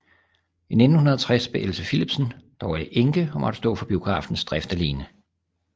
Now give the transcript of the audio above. I 1960 blev Else Philipsen dog enke og måtte stå for biografens drift alene